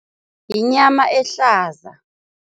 Yinyama ehlaza.